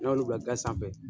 N'olu bila ga sanfɛ